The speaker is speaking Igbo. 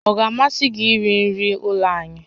Ọ ga-amasị gị iri nri ụlọ anyị?